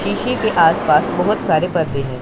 शीशे के आस पास बहोत सारे पर्दे हैं।